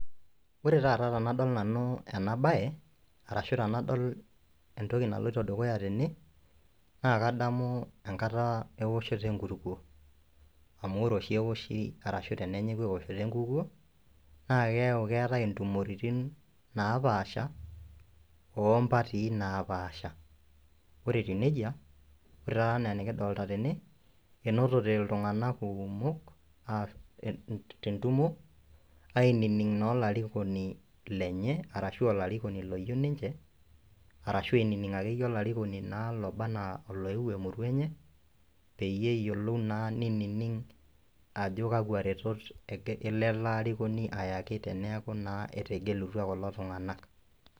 Ore taata tanadol nanu enabaye arashu tenadol entoki naloto dukuya tene naa kadamu enkata eowoshoto enkulupo amu ore oshi eoshi arashu tenenyei aosh lenkuko, naa keyau keetae intumoritin napaasha oompatii napaasha. Ore etiu neja ore taa ena nikidolita tene, enotote iltunganak kumok te ntumo ainining' naa olarikoni lenye arashu olarikoni loyeu ninche arashu ainining' ake iyie olarikoni oba anaa loewuo emurua enye, peyie eyiolou naa neinining' ajo kakwa rretot ake elo ale ilarikoni ayaki teneaku naa etegelutwa kulo tunganak.